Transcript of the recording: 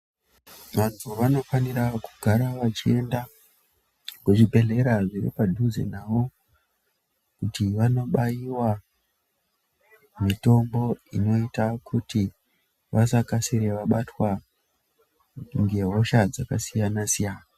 Vantu vanofanira kugara vachienda kuzvibhedhlera zviripadhuze navo kuti vanobaiwa mitombo inoita kuti vasakasire vabatwa ngehosha dzakasiyana siyana